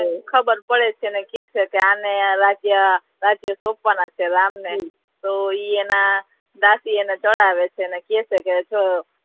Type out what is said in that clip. ખબર પડે છે ને અને કહે છે કે આને રાજ્ય રાજ્ય સોપવાના છે રામ ને તો ઈ એના દાસી એને ચડાવે છે અને કહે છે કે